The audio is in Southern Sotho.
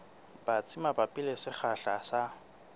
batsi mabapi le sekgahla sa